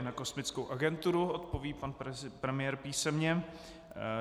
I na kosmickou agenturu odpoví pan premiér písemně.